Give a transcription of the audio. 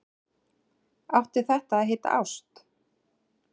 Átti þetta að heita ást?